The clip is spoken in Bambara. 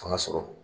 Fanga sɔrɔ